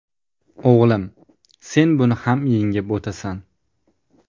O‘g‘lim, sen buni ham yengib o‘tasan.